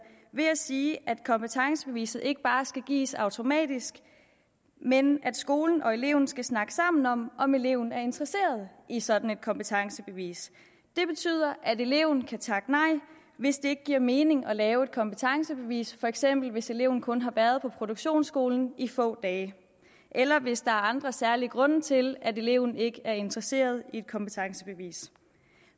ved at sige at kompetencebeviset ikke bare skal gives automatisk men at skolen og eleven skal snakke sammen om om eleven er interesseret i sådan et kompetencebevis det betyder at eleven kan takke nej hvis det ikke giver mening at lave en kompetencebevis for eksempel hvis eleven kun har været på produktionsskolen i få dage eller hvis der er andre særlige grunde til at eleven ikke er interesseret i et kompetencebevis